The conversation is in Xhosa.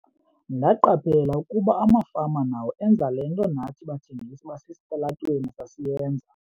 "Ndaqaphela ukuba amafama nawo enza le nto nathi bathengisi basesitalatweni sasiyenza."